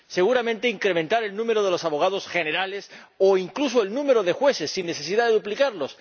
Seguramente, incrementar el número de los abogados generales o incluso el número de jueces, sin necesidad de duplicarlos